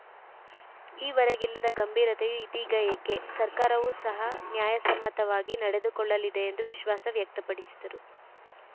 ಈವರೆಗಿಲ್ಲದ ಗಂಭೀರತೆಯು ಇದೀಗ ಏಕೆ ಸರ್ಕಾರವು ಸಹ ನ್ಯಾಯಸಮ್ಮತವಾಗಿ ನಡೆದುಕೊಳ್ಳಲಿದೆ ಎಂದು ವಿಶ್ವಾಸ ವ್ಯಕ್ತಪಡಿಸಿದರು